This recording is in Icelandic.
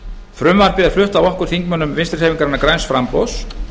frumvarpið er flutt af þingmönnum vinstri hreyfingarinnar græns framboðs